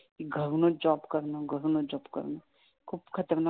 कि घरूनच जॉब करणं घरूनच जॉब करण खूप खतरनाक आहे.